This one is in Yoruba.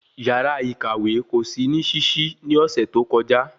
Yàrá ìkàwé kò sí ní ṣiṣi ni ọsẹ tó kọjá